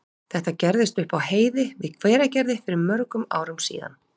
Þetta gerðist upp á heiði við Hveragerði fyrir mörgum árum síðan.